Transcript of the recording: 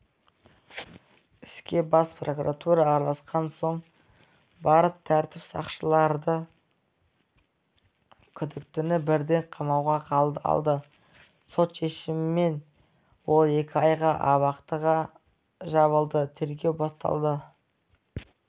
іске бас прокуратура араласқан соң барып тәртіп сақшылары күдіктіні бірден қамауға алды сот шешімімен ол екі айға абақтыға жабылды тергеу басталды